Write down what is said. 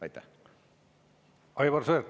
Aivar Sõerd, palun!